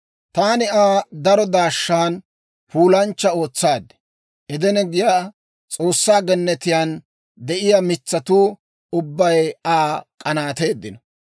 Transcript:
« ‹Taani Aa daro daashshan puulanchcha ootsaad. Edene giyaa S'oossaa gennetiyaan de'iyaa mitsatuu ubbay Aa k'anaateeddino.